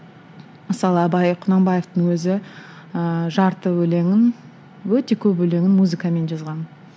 мысалы абай құнанбаевтың өзі ыыы жарты өлеңін өте көп өлеңін музыкамен жазған